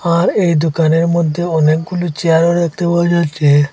আর এই দোকানের মধ্যে অনেকগুলো চেয়ারও দেখতে পাওয়া যাচ্ছে।